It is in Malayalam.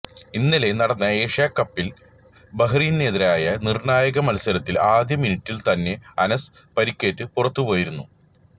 ഇന്നലെ നടന്ന ഏഷ്യാ കപ്പിൽ ബഹ്റിനെതിരായ നിർണായക മത്സരത്തിൽ ആദ്യ മിനിറ്റിൽ തന്നെ അനസ് പരിക്കേറ്റ് പുറത്തുപോയിരുന്നു